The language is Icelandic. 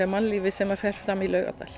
mannlífi sem fer fram í Laugardal